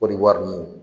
Kɔdiwari ninnu